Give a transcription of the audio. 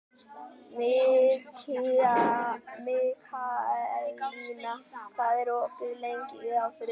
Mikaelína, hvað er opið lengi á þriðjudaginn?